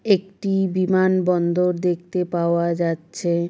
একটি বিমান বন্দর দেখতে পাওয়া যাচ্ছে ।